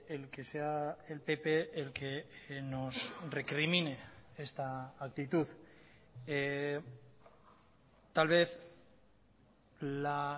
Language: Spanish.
el que sea el pp el que nos recrimine esta actitud tal vez la